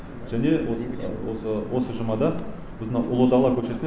және осы жұмада біз мынау ұлы дала көшесінде